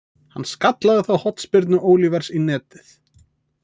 Hann skallaði þá hornspyrnu Olivers í netið.